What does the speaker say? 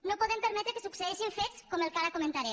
no podem permetre que succeeixin fets com el que ara comentaré